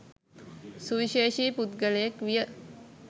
සුවිශේෂී පුද්ගලයෙක් විය.